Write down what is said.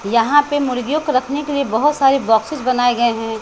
यहां पे मुर्गियों को रखने के लिए बहुत सारे बॉक्सेस बनाए गए हैं।